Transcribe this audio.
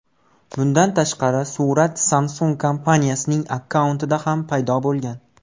Bundan tashqari, surat Samsung kompaniyasining akkauntida ham paydo bo‘lgan .